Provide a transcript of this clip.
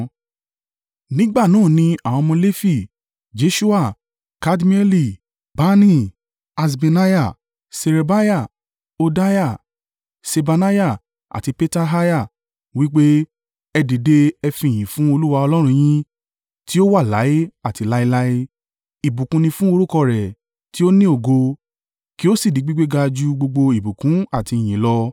Nígbà náà ni àwọn ọmọ Lefi: Jeṣua, Kadmieli, Bani, Haṣbneiah, Ṣerebiah, Hodiah, Ṣebaniah àti Petahiah—wí pé, “Ẹ dìde ẹ fi ìyìn fún Olúwa Ọlọ́run yín, tí ó wà láé àti láéláé.” “Ìbùkún ni fún orúkọ rẹ tí ó ní ògo, kí ó sì di gbígbéga ju gbogbo ìbùkún àti ìyìn lọ.